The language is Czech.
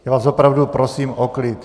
Já vás opravdu prosím o klid.